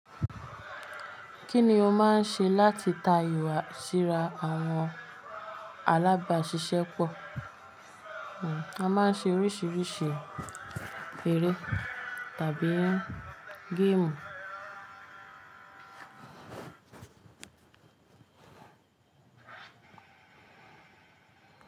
Kí ni o máa ń ṣe láti ta ìwà síra àwọn alábàáṣiṣẹ́ pọ̀? A máa ń ṣe oríṣiríṣi eré tàbí gamu.